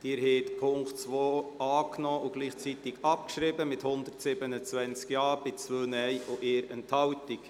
Sie haben den Punkt 2 angenommen und gleichzeitig abgeschrieben mit 127 Ja- zu 2 Nein-Stimmen bei 1 Enthaltung.